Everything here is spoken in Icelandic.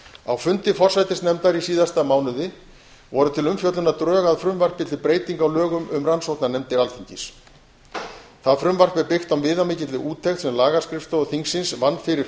á fundi forsætisnefndar í síðasta mánuði voru til umfjöllunar drög að frumvarpi til breytinga á lögum um rannsóknarnefndir alþingis það frumvarp er byggt á viðamikilli úttekt sem lagaskrifstofa þingsins vann fyrir